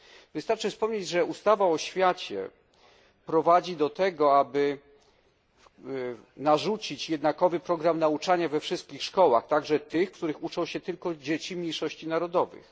Wystarczy wspomnieć, że ustawa o oświacie prowadzi do tego, aby narzucić jednakowy program nauczania we wszystkich szkołach, także w tych, w których uczą się tylko dzieci mniejszości narodowych.